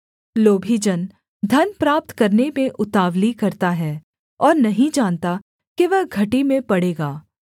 लोभी जन धन प्राप्त करने में उतावली करता है और नहीं जानता कि वह घटी में पड़ेगा